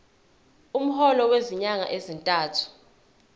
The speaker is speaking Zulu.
umholo wezinyanga ezintathu